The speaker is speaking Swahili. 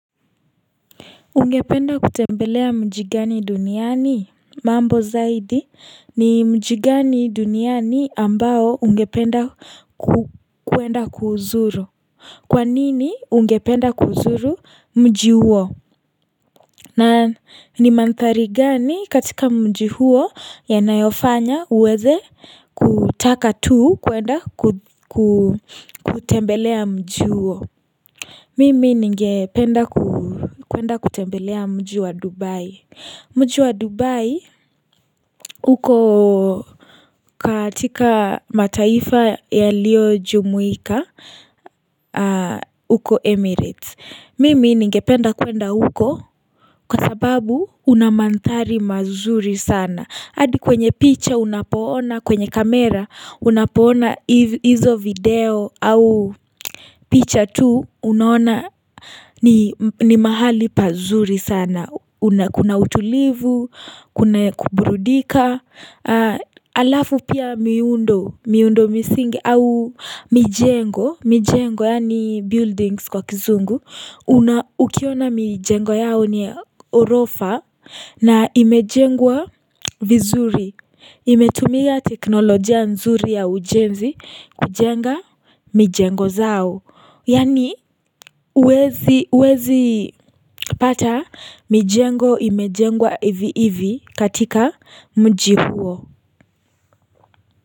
Ungependa kutembelea mji gani duniani? Mambo zaidi ni mji gani duniani ambao ungependa kuenda kuuzuru. Kwa nini ungependa kuzuru mji huo? Na ni mandhari gani katika mji huo yanayofanya uweze kutaka tu kuenda kutembelea mji huo? Mimi ningependa kuenda kutembelea mji wa Dubai. Mji wa Dubai uko katika mataifa yalio jumuika, uko Emirates. Mimi ningependa kuenda huko kwa sababu una mandhari mazuri sana. Hadi kwenye picture unapoona, kwenye kamera unapoona hizo video au picha tu unaona ni mahali pazuri sana, kuna utulivu, kuna kuburudika, alafu pia miundo, miundo misingi au mijengo, mijengo yaani buildings kwa kizungu una ukiona mijengo yao ni ghorofa na imejengwa vizuri. Imetumia teknolojia nzuri ya ujenzi kujenga mijengo zao. Yaani huwezi pata mijengo imejengwa hivi hivi katika mji huo.